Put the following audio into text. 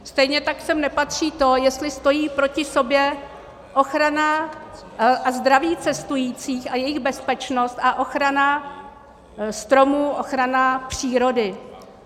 Stejně tak sem nepatří to, jestli stojí proti sobě ochrana a zdraví cestujících a jejich bezpečnost a ochrana stromů, ochrana přírody.